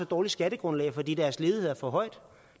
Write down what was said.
dårligt skattegrundlag fordi deres ledighed er for høj og